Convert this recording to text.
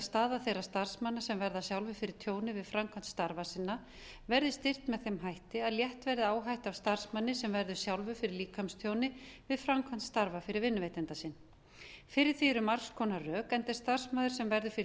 staða þeirra starfsmanna sem verða sjálfir fyrir tjóni við framkvæmd starfa sinna verði styrkt með þeim hætti að létt verði áhættu af starfsmanni sem verður sjálfur fyrir líkamstjóni við framkvæmd starfa fyrir vinnuveitanda sinn fyrir því eru margs konar rök enda er starfsmaður sem verður fyrir